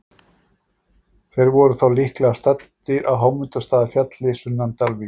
Þeir voru þá líklega staddir á Hámundarstaðafjalli sunnan Dalvíkur.